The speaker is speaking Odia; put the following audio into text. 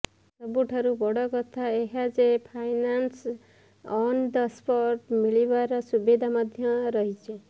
ସବୁଠାରୁ ବଡ଼ କଥା ଏହା ଯେ ଫାଇନାନ୍ସ ଅନ ଦ ସ୍ପଟ ମିଳିବାର ସୁବିଧା ମଧ୍ୟ ରହିଛି